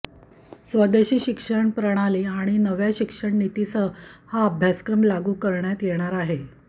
स्वेदशी शिक्षण प्रणाली आणि नव्या शिक्षण नीतीसह हा अभ्यासक्रम लागू करण्यात येणार आहे